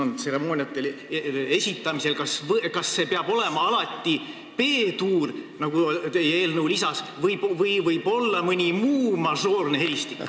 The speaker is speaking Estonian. Kas tseremooniatel ja muudel pidulikel juhtudel peab hümni alati B-duuris esitama, nagu teie eelnõu lisas on, või võib seda teha ka mõnes muus mažoorses helistikus?